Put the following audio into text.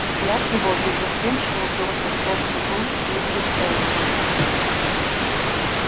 взгляд его беззастенчиво упёрся в плоскую грудь миссис элсинг